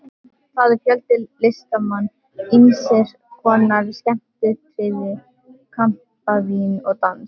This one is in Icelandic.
Þar er fjöldi listamanna, ýmiss konar skemmtiatriði, kampavín og dans.